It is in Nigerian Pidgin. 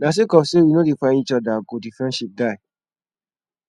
na sake of sey we no dey find eachother go di friendship die